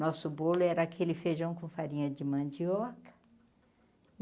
Nosso bolo era aquele feijão com farinha de mandioca.